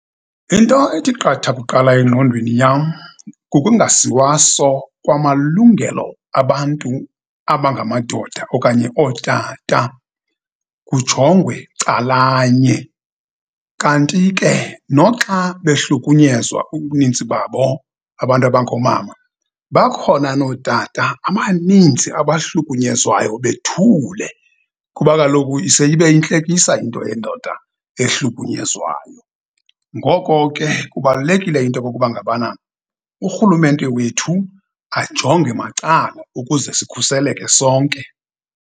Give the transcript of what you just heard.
Into ethi qatha kuqala engqondweni yam, kukungasiwaso kwamalungelo abantu abangamadoda okanye ootata, kujongwe calanye, kanti ke noxa behlukunyezwa ubuninzi babo abantu abangoomama, bakhona nootata abaninzi abahlukunyezwayo bethule, kuba kaloku ise ibe yintlekisa into yendoda ehlukunyezwayo. Ngoko ke, kubalulekile into yokokuba ngabana urhulumente wethu ajonge macala ukuze sikhuseleke sonke.